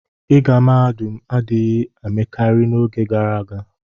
ịga mahadum adịghị emekarị n'oge gara aga.